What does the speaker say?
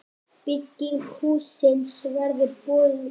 Bygging hússins verður boðin út.